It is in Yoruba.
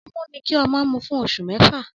Ọmú ni kí ọmọ mú fún oṣù mẹ́fà